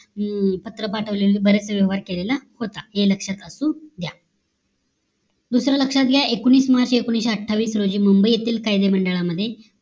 अं पत्र पाठवलेलं बराच व्यवहार केला होता हे लक्ष्यात असू द्या दुसरा लक्ष्यात घ्या एकोणीस मार्च एकोणीशे अठ्ठावीस रोजी मुंबई येथील कायदा मंडळामध्ये